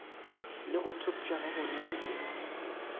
le go thopša gabonolo ke